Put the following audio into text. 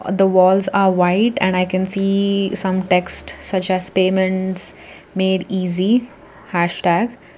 and the walls are white and i can see some text such as payments made easy hashtag.